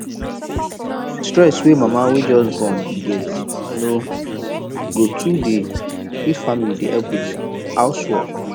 stress wey mama wey just born dey get no go too dey if family dey help with house work